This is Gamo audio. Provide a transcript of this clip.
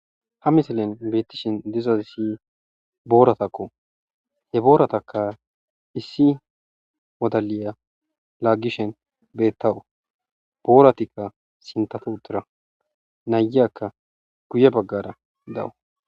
Ha misilen betishe dizayisi boratakko, he boratakka issi wodaliya lagishe betawusi boratika sintha sintara nayika guye bagara dawusi.